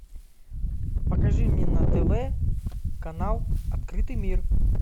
покажи мне на тв канал открытый мир